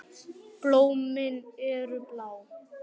Blómin eru blá.